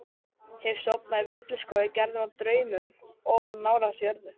Hef sofnað í villiskógi gerðum úr draumum of nálægt jörðu.